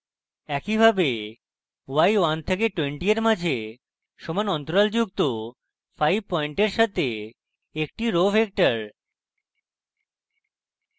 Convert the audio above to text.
একইভাবে y 1 থেকে 20 এর মাঝে সমান অন্তরাল যুক্ত 5 পয়েন্টের সাথে একটি row row vector